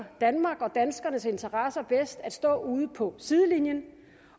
danmark og danskernes interesser bedst at stå ude på sidelinjen